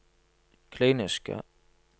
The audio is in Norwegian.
kliniske